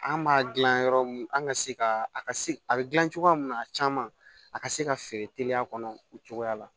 An b'a dilan yɔrɔ mun an ka se ka a ka se a be gilan cogoya mun na a caman a ka se ka feere teliya kɔnɔ o cogoya la